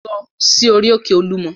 Lọ sí orí-òkè Olúmọ!